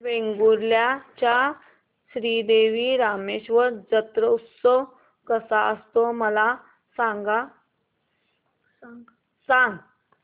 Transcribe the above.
वेंगुर्ल्या चा श्री देव रामेश्वर जत्रौत्सव कसा असतो मला सांग